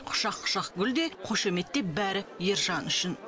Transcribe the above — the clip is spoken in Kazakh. құшақ құшақ гүл де қошемет те бәрі ержан үшін